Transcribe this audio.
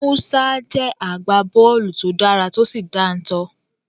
Musa jẹ́ agbábọ́ọ̀lù to dára tó sì dáńtọ́.